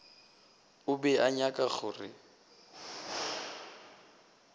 o be a nyaka gore